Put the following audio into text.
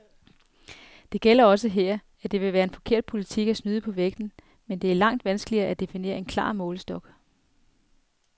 Det gælder også her, at det vil være en forkert politik at snyde på vægten, men det er langt vanskeligere at definere en klar målestok.